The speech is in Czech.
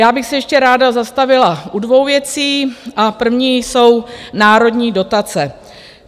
Já bych se ještě ráda zastavila u dvou věcí a první jsou národní dotace.